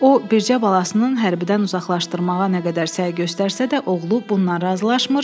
O, bircə balasının hərbidən uzaqlaşdırmağa nə qədər səy göstərsə də, oğlu bundan razılaşmır.